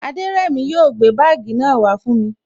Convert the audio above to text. Aderemi o gbé bagii náà wa fún mi